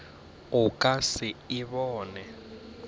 o ka se e bone